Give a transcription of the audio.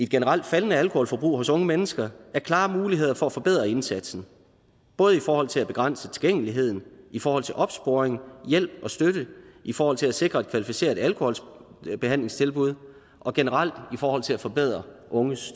generelt faldende alkoholforbrug hos unge mennesker er klare muligheder for at forbedre indsatsen både i forhold til at begrænse tilgængeligheden i forhold til opsporing hjælp og støtte i forhold til at sikre et kvalificeret alkoholbehandlingstilbud og generelt i forhold til at forbedre unges